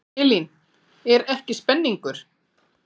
Elín, er ekki spenningur?